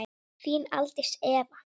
Þín Aldís Eva.